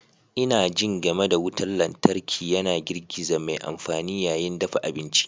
Ina jin game da wutar lantarki yana girgiza mai amfani yayin dafa abinci.